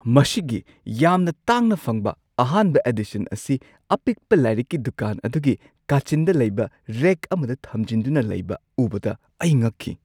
ꯃꯁꯤꯒꯤ ꯌꯥꯝꯅ ꯇꯥꯡꯅ ꯐꯪꯕ ꯑꯍꯥꯟꯕ ꯑꯦꯗꯤꯁꯟ ꯑꯁꯤ ꯑꯄꯤꯛꯄ ꯂꯥꯏꯔꯤꯛꯀꯤ ꯗꯨꯀꯥꯟ ꯑꯗꯨꯒꯤ ꯀꯥꯆꯤꯟꯗ ꯂꯩꯕ ꯔꯦꯛ ꯑꯃꯗ ꯊꯝꯖꯤꯟꯗꯨꯅ ꯂꯩꯕ ꯎꯕꯗ ꯑꯩ ꯉꯛꯈꯤ꯫